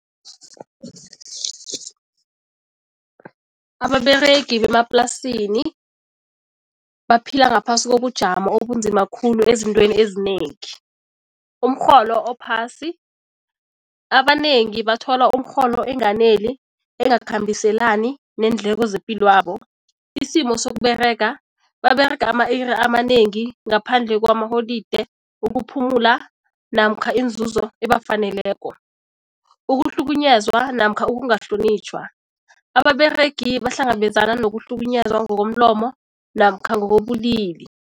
Ababeregi bemaplasini baphila ngaphasi kobujamo obunzima khulu ezintweni ezinengi. Umrholo ophasi, abanengi bathola umrholo enganeli, engakhambiselani neendleko zepilwabo. Isimo sokUberega, baberega ama-iri amanengi ngaphandle kwamaholide, ukuphumula namkha inzuzo ebafaneleko. Ukuhlukunyezwa namkha ukungahlonitjhwa, ababeregi bahlangabezana nokuhlukunyezwa ngokomlomo namkha ngokobulili.